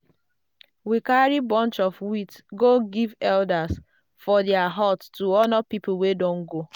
we carry bunch of wheat go give elders for their hut to honour the people wey don go.